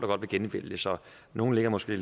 godt vil genvælges og nogle ligger måske